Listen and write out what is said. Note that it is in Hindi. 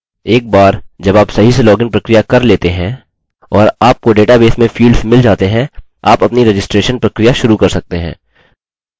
एक बार जब आप सही से लॉगिन प्रक्रिया कर लेते हैं और आपको डेटाबेस में फील्ड्स मिल जाते हैं आप अपनी रजिस्ट्रैशन प्रक्रिया शुरू कर सकते हैं